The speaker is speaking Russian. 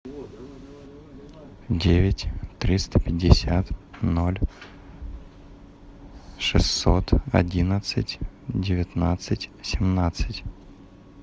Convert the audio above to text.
девять триста пятьдесят ноль шестьсот одиннадцать девятнадцать семнадцать